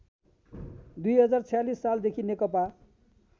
२०४६ सालदेखि नेकपा